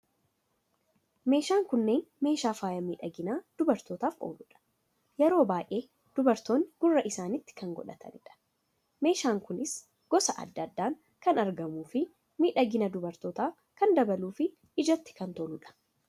Meeshaan kunneen meeshaa faaya miidhagina dubartootaaf ooludha. Yeroo baayee dubartootni gurra isaanitti kan godhatanidha. Meeshaan kunis gosa addaa addaan kan argamuu fi miidhagina dubartootaa kan dabaluu fi ijatti kan toludha.